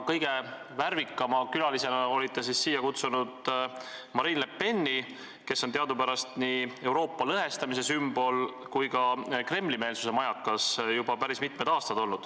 Kõige värvikama külalisena olite siia kutsunud Marine Le Peni, kes on teadupärast juba päris mitmed aastad olnud nii Euroopa lõhestamise sümbol kui ka Kremli-meelsuse majakas.